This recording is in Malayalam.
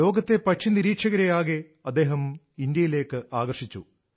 ലോകത്തെ പക്ഷി നിരീക്ഷകരെയാകെ അദ്ദേഹം ഇന്ത്യയിലേക്ക് ആകർഷിച്ചു